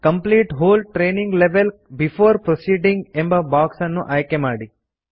complete whole training level before proceeding ಎಂಬ box ಅನ್ನು ಆಯ್ಕೆ ಮಾಡಿ